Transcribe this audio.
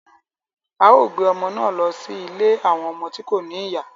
A o gbé ọmọ náà lọ sí ilé awọn ọmọ tí ko ní ìyá